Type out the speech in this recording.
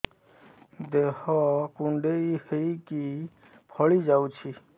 ଦେହ କୁଣ୍ଡେଇ ହେଇକି ଫଳି ଯାଉଛି